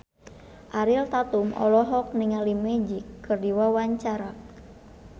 Ariel Tatum olohok ningali Magic keur diwawancara